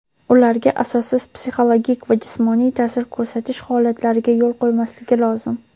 ularga asossiz psixologik va jismoniy taʼsir ko‘rsatish holatlariga yo‘l qo‘ymasligi lozim.